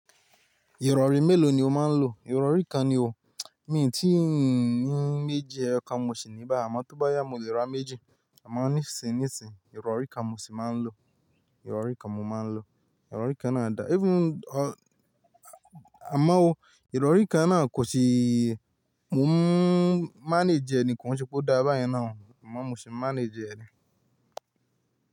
Ìrọ̀rí mélòó ni o máa ń lo? Ìrọ̀rí kan ni o. Mi ti ń ní méjì, eyọkàn mo sì ní báyi, àmọ́ tó bá yá mo lè ra méjì. Àmo nísin nisin, ìrọ̀rí kan mo sì máa ń lo. Ìrọ̀rí kan mo máa ń lo. Ìrọ̀rí kan náà dà, even a-a-ámá o, ìrọ̀rí kan náà kò sì mo n manage ẹ ni ko ṣepò o dá bá yẹn náà ọ́, amo mo sì n manage ẹ ni.